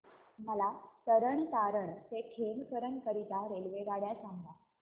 मला तरण तारण ते खेमकरन करीता रेल्वेगाड्या सांगा